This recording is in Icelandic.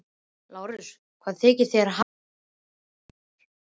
LÁRUS: Hvað þykist þér hafa afhent mér?